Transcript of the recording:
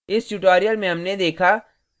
इस tutorial में हमने देखा